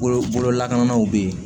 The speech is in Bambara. Bolo lakanaw bɛ yen